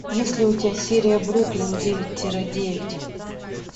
есть ли у тебя серия бруклин девять тире девять